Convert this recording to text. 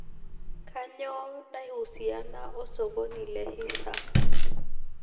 kanyoo naihusiana osokoni le hisa